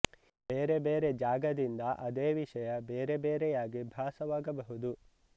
ಬೇರೆ ಬೇರೆ ಜಾಗದಿಂದ ಅದೇ ವಿಷಯ ಬೇರೆ ಬೇರೆಯಾಗಿ ಭಾಸವಾಗಬಹುದು